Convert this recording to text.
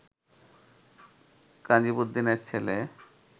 কাজীমুদ্দীনের ছেলে